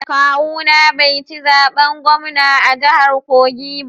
Kawuna bai ci zaben gwamna a jahar kogi ba